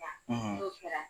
n'o kɛra